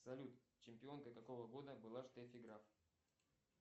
салют чемпионкой какого года была штеффи граф